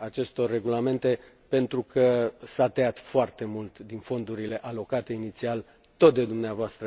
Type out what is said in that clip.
acestor regulamente, pentru că s a tăiat foarte mult din fondurile alocate inițial, tot de dvs.,